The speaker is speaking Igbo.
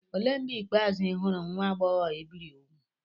Olee mgbe ikpeazụ ị hụrụ nwa agbọghọ e biri úgwù?